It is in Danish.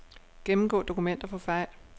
Gennemgå dokumenter for fejl.